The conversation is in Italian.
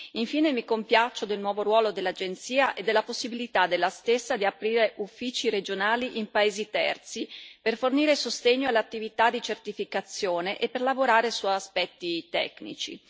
Infine, mi compiaccio del nuovo ruolo dell'agenzia e della possibilità della stessa di aprire uffici regionali in paesi terzi per fornire sostegno alle attività di certificazione e per lavorare su aspetti tecnici.